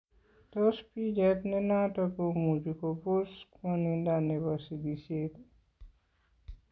Tos picheet nenoton komuuchi kopoos kwan'indo nebo sikisyeet